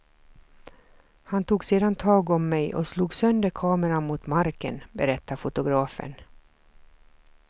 Han tog sedan tag om mig och slog sönder kameran mot marken, berättar fotografen.